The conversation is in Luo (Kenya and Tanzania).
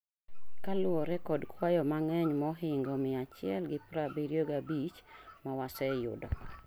Kaluwore kod kwayo mang'eny mohingo 175 ma wase yudo